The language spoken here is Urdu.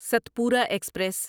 ستپورا ایکسپریس